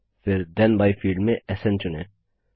फिर then by field से स्न चुनें